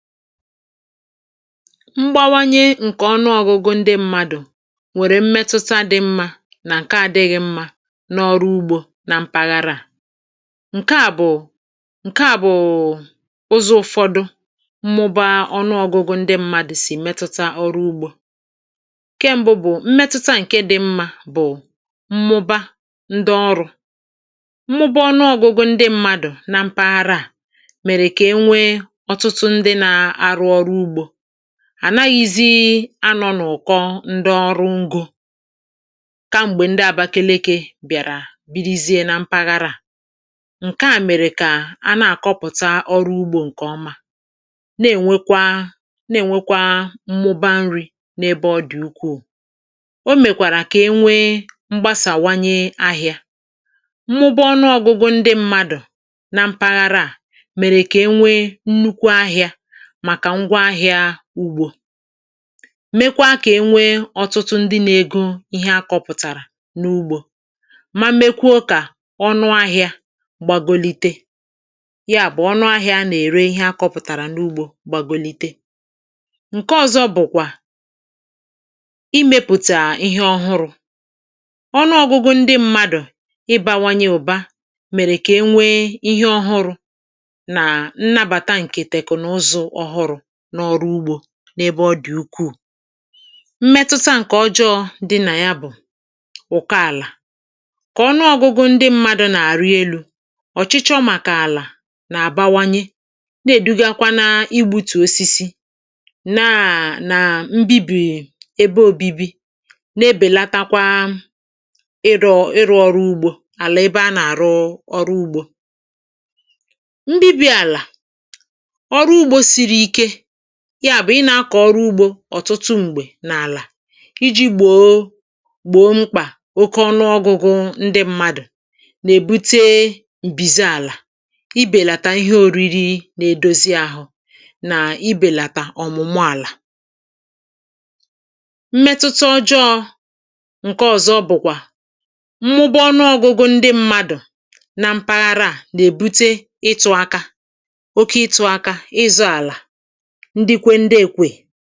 mbawanye ǹkè ọnụọgụgụ ndị mmadu nwẹ̀rẹ̀ mmẹtụta dị mmā, mà ǹkẹ adịghị mmā, n’ọrụ ugbō, na mpaghara. ǹkẹ à bụ̀ ụzọ̄ ụfọdụ, mmụba ọnụọgụgụ ndị mmadū sì ẹ̀mẹtụta ọrụ ugbō. ǹkẹ mbụ bụ, mmẹtụta ǹkẹ dị mmā bụ̀ mmụba ndị ọrụ̄. mmụba ndị ọrụ̄ bụ̀ ọnụọgụgụ ndị mmadū na mpaghara à, nwẹ̀rẹ̀ kà e nwe ọ̀tụtụ ndị na arụ ọrụ ugbō. à naghịzị a nọ̄ n’ụ̀kọ ndị ọrụ ugbō, ka m̀gbè ndị Abakeleke bị̀àrà birizie na mpaghara à. ǹkẹ à mèrè kà a nà àkọpụ̀ta ọrụ ugbō ǹkè ọma, nà è nwekwa nà è nwekwa nrī, n’ebe ọ dị̀ ukwù. o mèkwàrà kà e nwe mgbasàwanye ahịā, mmụba ọnụọgụgụ ndị mmadū na mpaghara à mèrè kà e nwe nnukwu ahịā màkà ngwọ ahịā ugbō, mekwa kà e nwe ọtụtụ ndị na ego ihe a kọpụ̀tàrà n’ugbō, ma mekwuo kà ọnụ ahịa ihẹ a kọ̀rọ̀ n’ugbō menite, yà bụ̀, ọnụ ahịā a nà ère ịhe a kọpụ̀tàrà n’ugbō gbagote. ǹkẹ ọzọ bụ̀kwà, imēpụ̀tà ihe ọhụrụ̄. ọnụọgụgụ ndị mmadù, ị bawanye ụ̀ba, mẹ̀rẹ̀ kà e nwe ihe ohụrụ̄ nnabàtà ǹkè tẹ̀kụ̀nụzụ̄ ọhụrụ̄, ǹkè ọrụ ugbō, n’ebe ọ dị̀ ukwù. mmetụta ǹkè ọjọọ̄ dị nà ya bụ̀ ụ̀kọ àlà. kà ọnụ ọgụgụ ndị mmadū nà àrị enū, ọ̀chịchọ màkà àlà nà àbawanyẹ, nà èdugakwa na ibūtù osisi, naà nà ndị bī n’ebe òbibi, na ebèlatakwa ịrụ̄ ịrụ̄ ọrụ ugbō, àlà ebe a nà àrụ ọ̄ụ ugbō. ndị bi àlà, ọrụ ugbō siri ike, yà bụ̀ ị na akọ ọrụ ugbō ọ̀tụtụ m̀gbẹ̀ n’àlà, I jī gbòo, gbòo mkpà oke ọnụọgụgụ ndị mmadù, nà èbute m̀bizi àlà, ị bẹ̀làtà ihe oriri na edozi ahụ, nà ị bẹ̀làtà ọ̀mụ̀mụ àlà. mmẹtụta ọjọọ̄ ǹkẹ ọ̀zọ bụ̀kwà, mmụba ọnụọgụgụ ndị mmadù, na mpaghara à nà èbute itụ̄ aka, oke ịtụ̄ aka, nà ịzọ̄ àlà ndukwu ndị ekwèe.